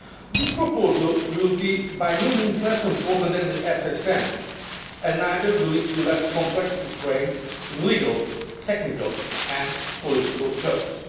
This proposal will be by no means less important than the SSM, and neither will it be less complex to frame in legal, technical and political terms.